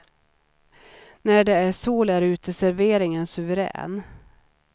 När det är sol är uteserveringen suverän.